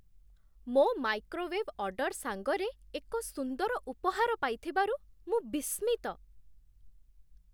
ମୋ microwave order ସାଙ୍ଗରେ ଏକ ସୁନ୍ଦର ଉପହାର ପାଇଥିବାରୁ ମୁଁ ବିସ୍ମିତ।